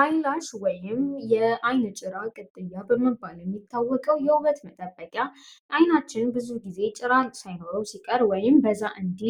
አይላሽ ወይም የአይን ጭራ ቅጥያ በምባል የሚታወቀው የውበት መጠበቂያ አይናችን ብዙ ጊዜ ጭራል ሳይኖሮው ሲቀር ወይም በዛ እንዲ